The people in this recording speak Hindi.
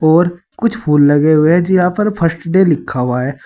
और कुछ फूल लगे हुए है जी यहां पर फर्स्ट डे लिखा हुआ है।